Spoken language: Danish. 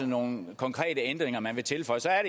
nogle konkrete ændringer man vil tilføje så er